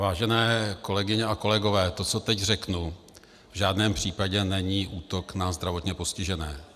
Vážené kolegyně a kolegové, to, co teď řeknu, v žádném případě není útok na zdravotně postižené.